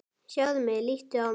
Sjáðu mig, líttu á mig.